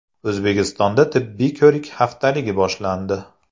O‘zbekistonda tibbiy ko‘rik haftaligi boshlandi.